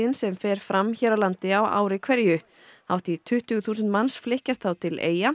sem fer fram hér á landi á ári hverju hátt í tuttugu þúsund manns flykkjast þá til Eyja